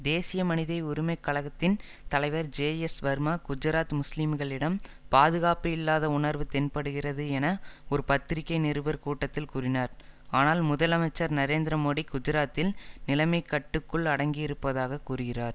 தேசிய மனித உரிமை கழகத்தின் தலைவர் ஜேஎஸ் வர்மா குஜராத் முஸ்லிம்களிடம் பாதுகாப்பு இல்லாத உணர்வு தென்படுகிறது என ஒரு பத்திரிகை நிருபர் கூட்டத்தில் கூறினார் ஆனால் முதலமைச்சர் நரேந்திர மோடி குஜராத்தில் நிலைமை கட்டுக்குள் அடங்கியிருப்பதாக கூறுகிறார்